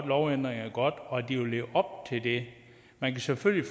lovændringerne godt og at de vil leve op til det man kan selvfølgelig